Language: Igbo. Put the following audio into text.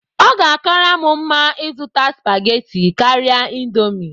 Ọ ga-akara m mma ịzụta spaghetti karịa indomie.